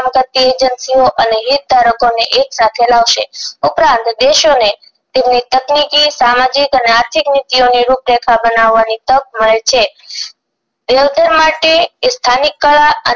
પ્રત્યે agency અને હિત ધારકો ને એક સાથે લાવશે ઉપરાંત દેશો ને તેમની ટેકીનકી સામાજિક અને આર્થિક નીતિઓની રૂપરેખા બનવાની તક મળે છે એ સ્થાનિક કળા